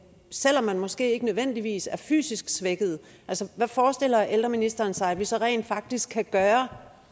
selv om man måske ikke nødvendigvis er fysisk svækket hvad forestiller ældreministeren sig at vi så rent faktisk kan gøre